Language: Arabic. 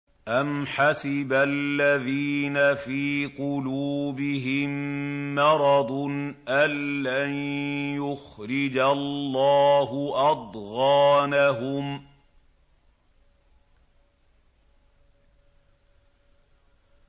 أَمْ حَسِبَ الَّذِينَ فِي قُلُوبِهِم مَّرَضٌ أَن لَّن يُخْرِجَ اللَّهُ أَضْغَانَهُمْ